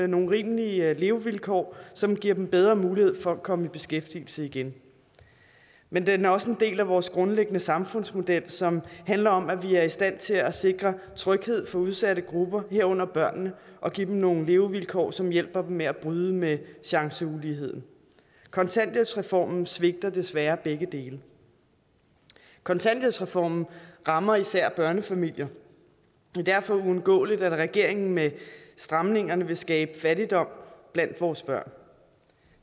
nogle rimelige levevilkår som giver dem bedre mulighed for at komme i beskæftigelse igen men den er også en del af vores grundlæggende samfundsmodel som handler om at vi er i stand til at sikre tryghed for udsatte grupper herunder børnene og give dem nogle levevilkår som hjælper dem med at bryde med chanceuligheden kontanthjælpsreformen svigter desværre begge dele kontanthjælpsreformen rammer især børnefamilier og det er derfor uundgåeligt at regeringen med stramningerne vil skabe fattigdom blandt vores børn